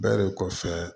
Bɛ de kɔfɛ